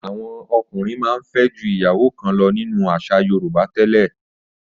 Àwọn ọkùnrin máa ń fẹ́ ju ìyàwó kan lọ nínú àṣà Yorùbá tẹ́lẹ̀.